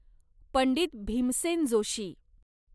Pandit Bhimsen Joshi